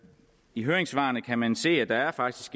i høringssvarene kan man se at der faktisk